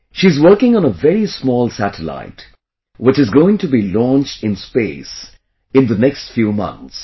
She is working on a very small satellite, which is going to be launched in space in the next few months